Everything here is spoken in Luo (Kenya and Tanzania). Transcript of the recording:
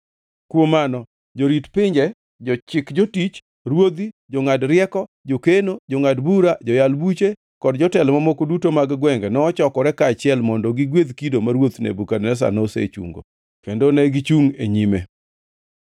Kuom mano jorit pinje, jochik jotich, ruodhi, jongʼad rieko, jokeno, jongʼad bura, joyal buche kod jotelo mamoko duto mag gwenge nochokore kaachiel mondo gigwedh kido ma ruoth Nebukadneza nosechungo, kendo negichungʼ e nyime.